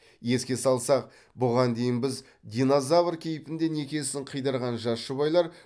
еске салсақ бұған дейін біз динозавр кейпінде некесін қидырған жас жұбайлар